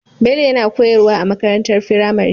Bello yana koyar wa a makarantar firamare